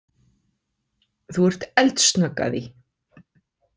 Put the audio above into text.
Þú ert eldsnögg að því.